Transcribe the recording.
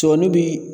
Cɔmi bi